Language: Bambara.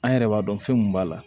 An yɛrɛ b'a dɔn fɛn mun b'a la